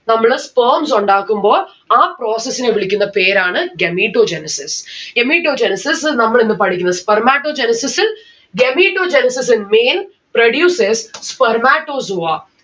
നമ്മള് sperms ഉണ്ടാക്കുമ്പോൾ ആ process നെ വിളിക്കുന്ന പേരാണ് Gametogenesis. Gametogenesis നമ്മളിന്ന് പഠിക്കുന്ന spermatogenesis. Gametogenesis in male produces spermatozoa